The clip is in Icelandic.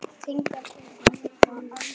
Þannig fann amma hana.